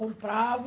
Comprava